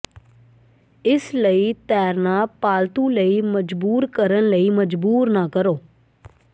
ਇਸ ਲਈ ਤੈਰਨਾ ਪਾਲਤੂ ਲਈ ਮਜਬੂਰ ਕਰਨ ਲਈ ਮਜਬੂਰ ਨਾ ਕਰੋ